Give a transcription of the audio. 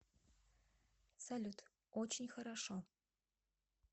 салют очень хорошо